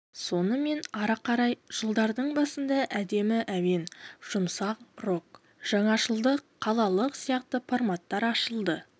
сонымен ары қарай жылдардың басында әдемі әуен жұмсақ рок жаңашылдық қалалық сияқты форматтар ашылды